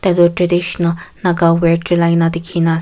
etu traditional naga wear chulai na dikhi na as--